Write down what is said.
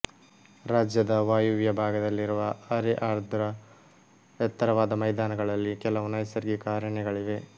ರಾಜ್ಯದ ವಾಯುವ್ಯ ಭಾಗದಲ್ಲಿರುವ ಅರೆ ಆರ್ದ್ರ ಎತ್ತರವಾದ ಮೈದಾನಗಳಲ್ಲಿ ಕೆಲವು ನೈಸರ್ಗಿಕ ಅರಣ್ಯಗಳಿವೆ